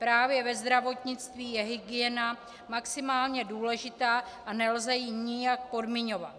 Právě ve zdravotnictví je hygiena maximálně důležitá a nelze ji nijak podmiňovat.